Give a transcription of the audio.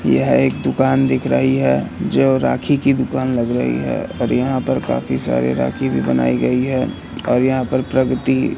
यह एक दुकान दिख रही है जो राखी की दुकान लग रही है और यहां पर काफी सारे राखी भी बनाई गई है और यहां पर प्रगति --